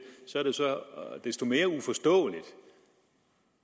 så desto mere uforståeligt